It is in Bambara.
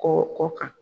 Kɔ kɔ kan